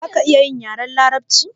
Zaka iya yin yaren larabci?